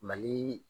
Mali